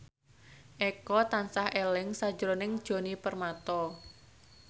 Eko tansah eling sakjroning Djoni Permato